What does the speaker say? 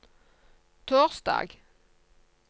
torsdag